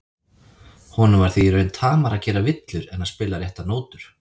Honum var því í raun tamara að gera villur en að spila réttar nótur.